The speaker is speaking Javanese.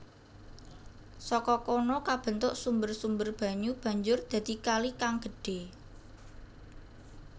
Saka kono kabentuk sumber sumber banyu banjur dadi kali kang gedhe